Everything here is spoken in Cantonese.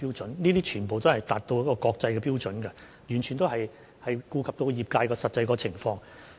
這些標準全都符合國際標準，完全顧及到業界的實際情況。